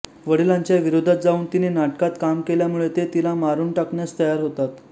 वडिलांच्या विरोधात जाऊन तिने नाटकात काम केल्यामुळे ते तिला मारून टाकण्यास तयार होतात